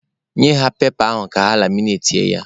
Nye ha pepa ahụ ka ha laminatie ya!